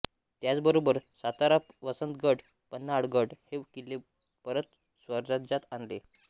त्याचबरोबर सातारा वसंतगड पन्हाळगड हे किल्ले परत स्वराज्यात आणले